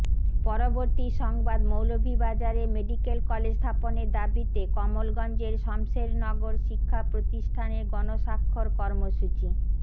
পরবর্তী সংবাদমৌলভীবাজারে medical college স্থাপনের দাবিতে কমলগঞ্জের শমসেরনগর শিক্ষা প্রতিষ্ঠানের গণস্বাক্ষর কর্মসূচী